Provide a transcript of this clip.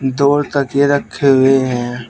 दो तकिये रखे हुए हैं।